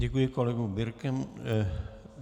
Děkuji kolegovi Birkemu.